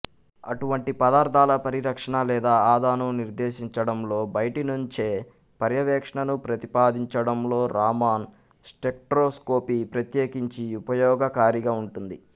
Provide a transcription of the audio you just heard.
అటువంటి పదార్ధాల పరిరక్షణ లేదా ఆదాను నిర్దేశించడంలో బయటినుంచే పర్యవేక్షణను ప్రతిపాదించడంలో రామన్ స్టెక్ట్రోస్కోపీ ప్రత్యేకించి ఉపయోగకారిగా ఉంటుంది